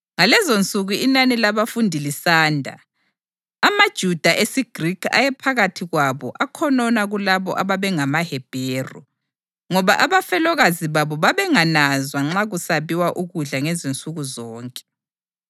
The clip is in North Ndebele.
Ngalezonsuku inani labafundi lisanda, amaJuda esiGrikhi ayephakathi kwabo akhonona kulabo ababengamaHebheru ngoba abafelokazi babo babengananzwa nxa kusabiwa ukudla ngezinsuku zonke.